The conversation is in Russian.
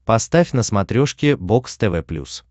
поставь на смотрешке бокс тв плюс